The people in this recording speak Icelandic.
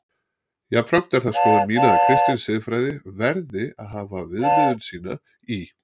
Jafnframt er það skoðun mín að kristin siðfræði verði að hafa viðmiðun sína í